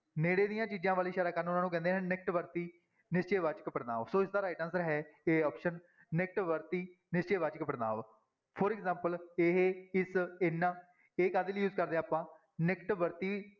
ਨੇੜੇ ਦੀਆਂ ਚੀਜ਼ਾਂ ਵੱਲ ਇਸ਼ਾਰਾ ਕਰਨ ਉਹਨਾਂ ਨੂੰ ਕਹਿੰਦੇ ਹਨ ਨਿਕਟ ਵਰਤੀ ਨਿਸ਼ਚੈ ਵਾਚਕ ਪੜ੍ਹਨਾਂਵ ਸੋ ਇਸਦਾ right answer ਹੈ a option ਨਿਕਟ ਵਰਤੀ ਨਿਸ਼ਚੈ ਵਾਚਕ ਪੜ੍ਹਨਾਂਵ for example ਇਹ, ਇਸ, ਇਹਨਾਂ ਇਹ ਕਾਹਦੇ ਲਈ use ਕਰਦੇ ਹਾਂ ਆਪਾਂ ਨਿਕਟ ਵਰਤੀ